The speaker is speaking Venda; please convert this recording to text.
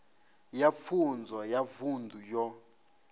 ya pfunzo ya vunḓu yo